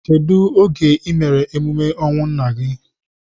Kedu oge I mere emume ọnwụ nna gị?